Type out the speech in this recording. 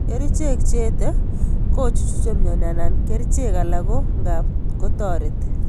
Kerchek che ete kechuchuk mioni ak kerchek alak ko ngap ko toreti.